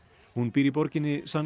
hún býr í borginni San